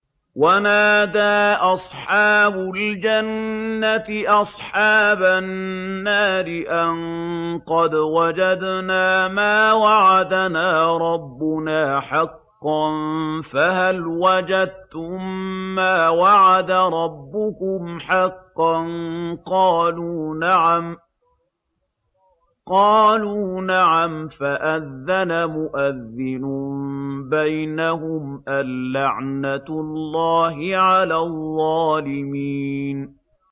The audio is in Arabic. وَنَادَىٰ أَصْحَابُ الْجَنَّةِ أَصْحَابَ النَّارِ أَن قَدْ وَجَدْنَا مَا وَعَدَنَا رَبُّنَا حَقًّا فَهَلْ وَجَدتُّم مَّا وَعَدَ رَبُّكُمْ حَقًّا ۖ قَالُوا نَعَمْ ۚ فَأَذَّنَ مُؤَذِّنٌ بَيْنَهُمْ أَن لَّعْنَةُ اللَّهِ عَلَى الظَّالِمِينَ